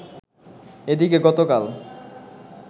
এদিকে গতকাল